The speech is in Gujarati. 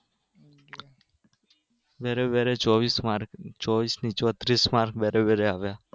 દરે દરે ચોવીશ માર્ક ચોવીશ નહિ ચોત્રીસ માર્ક દરે દરે આવ્યા